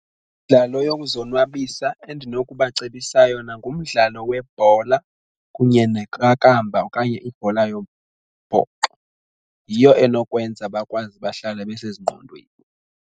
Imidlalo yokuzonwabisa endinokubacebisa yona ngumdlalo webhola kunye neqakamba okanye ibhola yombhoxo, yiyo enokwenza bakwazi bahlale besezingqondweni.